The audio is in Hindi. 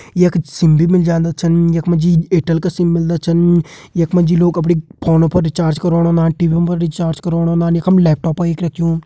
यख सिम भी मिल जांदा छन यख मा जी एयरटेल का सिम मिलदा छन यख मा जी लोग अपणी फोनो पर रिचार्ज करोण औंदा टीवी पर रिचार्ज करोण औंदा यखम लैपटॉप एक रखयूं।